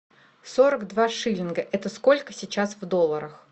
сорок два шиллинга это сколько сейчас в долларах